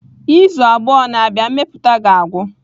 Izu abụọ na-abịa, mmepụta ga-agwụ.